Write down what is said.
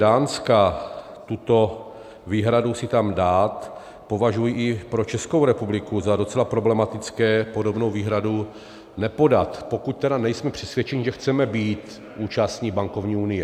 Dánska tuto výhradu si tam dát považuji i pro Českou republiku za docela problematické podobnou výhradu nepodat, pokud tedy nejsme přesvědčeni, že chceme být účastni bankovní unie.